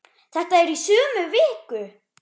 Þetta er í sömu viku!